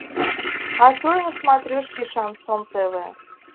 открой на смотрешке шансон тв